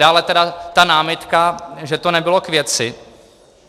Dále tedy ta námitka, že to nebylo k věci.